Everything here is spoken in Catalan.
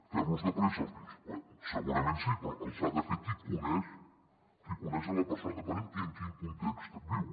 fer·los de pressa segurament sí però els ha de fer qui coneix la persona dependent i en quin context viu